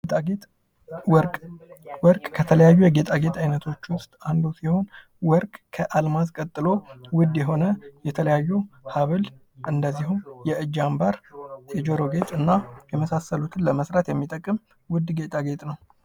ጌጣጌጥ ወርቅ ወርቅ ከተለያዩ የጌጣጌጥ ዓይነቶች ውስጥ አንዱ ሲሆን፤ ወርቅ አልማዝ ቀጥሎ ውድ የሆነ የተለያዩ ሀብል ፣እንደዚሁም የእጅ አምባር ፣የጆሮ ጌጥ፣ እና የመሳሰሉትን ለመሥራት የሚጠቅም ውድ ጌጣ ጌጥ ነው።